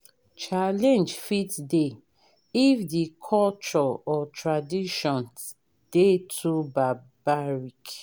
challenge fit dey if di culture or tradition dey too barbaric